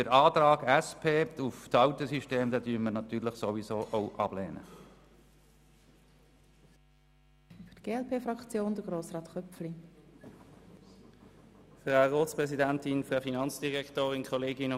Den Antrag der SP-JUSO-PSA, es sei beim alten System zu bleiben, lehnen wir natürlich ohnehin ab.